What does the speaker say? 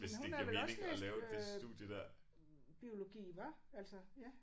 Men hun har vel også læst øh biologi hva altså ja